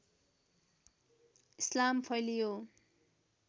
इस्लाम फैलियो